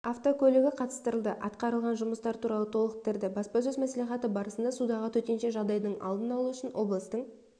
автокөлігі қатыстырылды атқарылған жұмыстар туралы толықтырды баспасөз-мәслихаты барысында судағы төтенше жағдайдың алдын алу үшін облыстың